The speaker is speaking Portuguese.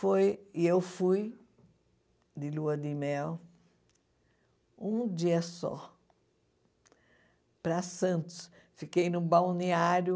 foi e eu fui de lua de mel um dia só para Santos fiquei no balneário